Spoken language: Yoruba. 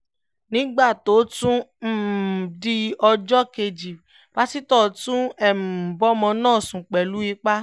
nígbà tó tún um di ọjọ́ kejì pásítọ̀ tún um bọ́mọ náà sùn pẹ̀lú ipa